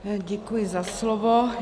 Děkuji za slovo.